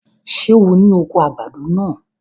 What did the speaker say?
Ṣé o ni oko àgbàdo náà?